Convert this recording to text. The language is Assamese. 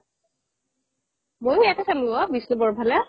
মইও ইয়াতে চালো ফালে